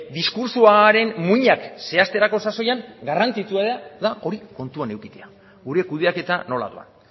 diskurtsoaren muinak zehazterako sasoian garrantzitsua da hori kontuan edukitzea gure kudeaketa nola doan